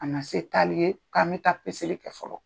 A na se taali ye k'an bɛ taa peseli kɛ fɔlɔ.